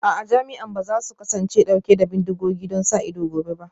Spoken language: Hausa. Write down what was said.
A'a, jami'an ba za su kasance dauke da bindigogi don sa ido gobe ba